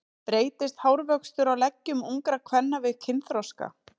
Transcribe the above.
Breytist hárvöxtur á leggjum ungra kvenna við kynþroska?